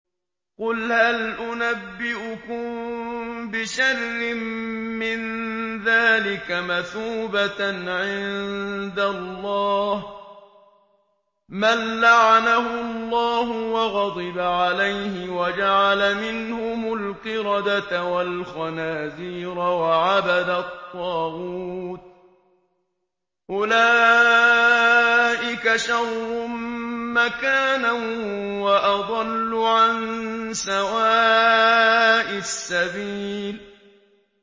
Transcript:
قُلْ هَلْ أُنَبِّئُكُم بِشَرٍّ مِّن ذَٰلِكَ مَثُوبَةً عِندَ اللَّهِ ۚ مَن لَّعَنَهُ اللَّهُ وَغَضِبَ عَلَيْهِ وَجَعَلَ مِنْهُمُ الْقِرَدَةَ وَالْخَنَازِيرَ وَعَبَدَ الطَّاغُوتَ ۚ أُولَٰئِكَ شَرٌّ مَّكَانًا وَأَضَلُّ عَن سَوَاءِ السَّبِيلِ